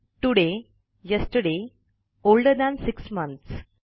तोडाय yesterday older than 6 months